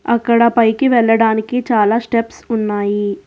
అక్కడ పైకి వెళ్లడానికి చాలా స్టెప్స్ ఉన్నాయి.